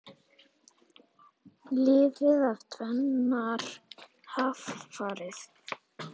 Lifði af tvennar hamfarir